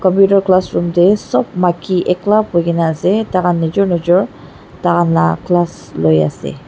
computer classroom te sob maiki ekla buhi na ase tai khan nijor nijor tai khan laga class loi ase.